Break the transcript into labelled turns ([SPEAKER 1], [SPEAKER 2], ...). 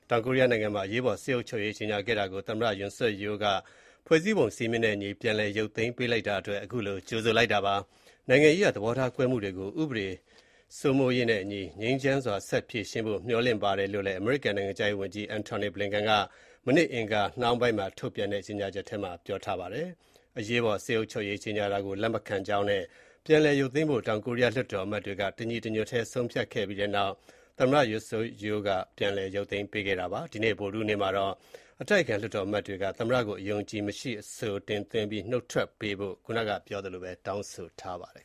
[SPEAKER 1] တောင်ကိုရီးယားနိုင်ငံမှာ အရေးပေါ် စစ်အုပ်ချုပ်ရေး ကြေညာခဲ့တာကို သမ္မတ Yoon Suk Yeol က ဖွဲ့စည်းပုံစည်းမျဉ်းနဲ့အညီ ပြန်လည်ရုပ်သိမ်းလိုက်တဲ့အတွက် အမေရိကန်က ကြိုဆိုလိုက်ပါတယ်။ နိုင်ငံရေးအရ သဘောထားကွဲလွဲမှုတွေကို တရားဥပဒေစိုးမိုးရေးနဲ့အညီ ငြိမ်းချမ်းစွာ ဆက်လက် ဖြေရှင်းဖို့လည်း မျှော်လင့်ကြောင်း အမေရိကန်နိုင်ငံခြားရေးဝန်ကြီး Antony Blinken က အင်္ဂါနေ့နှောင်းပိုင်း ထုတ်ပြန်တဲ့ကြေညာချက်ထဲမှာပြောဆိုထားပါတယ်။ အရေးပေါ်စစ်အုပ်ချုပ်ရေးကြေညာတာကို လက်မခံကြောင်းနဲ့ ပြန်လည်ရုပ်သိမ်းဖို့ တောင်ကိုရီးယား လွှတ်တော်အမတ်တွေက တညီတညွတ်တည်း ဆုံးဖြတ်ခဲ့ပြီးနောက် သမ္မတယွန်ဆွတ်ယူးလ်က ပြန်လည်ရုပ်သိမ်းပေးခဲ့တာဖြစ်ပါတယ်။ ဒီကနေ့ ဗုဒ္ဓဟူးနေ့မှာတော့ အတိုက်အခံ လွှတ်တော်အမတ် တွေက သမ္မတကို အယုံအကြည်မရှိအဆိုတင်သွင်းပြီး နုတ်ထွက်ပေးဖို့တောင်းဆိုထားပါတယ်